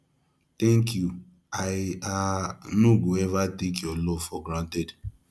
thank you i um no go eva take your love for granted